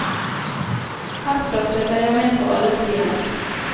Herfra følger jeg med på alle flyene.